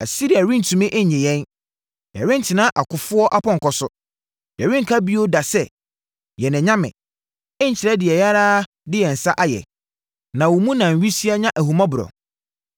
Asiria rentumi nnye yɛn; yɛrentena akofoɔ apɔnkɔ so. Yɛrenka bio da sɛ, ‘Yɛn anyame’ nkyerɛ deɛ yɛn ara de yɛn nsa ayɛ, na wo mu na nwisiaa nya ahummɔborɔ.”